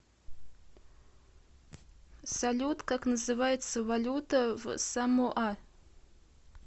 салют как называется валюта в самоа